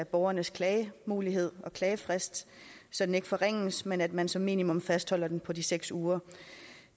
af borgernes klagemulighed og klagefrist så den ikke forringes men at man som minimum fastholder den på de seks uger